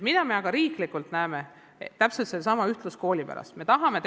Mida me aga riiklikul tasandil näeme, täpselt sellesama ühtluskooli saavutamisega seoses?